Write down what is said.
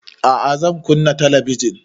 A'a zan kunna talabijin